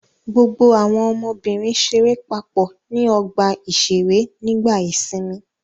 Gbogbo àwọn ọmọbìnrin ṣeré papọ̀ ní ọgbà-ìṣeré nígbà ìsìnmi.